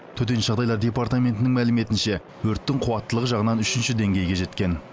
төтенше жағдайлар департаментінің мәліметінше өрттің қуаттылығы жағынан үшінші деңгейге жеткен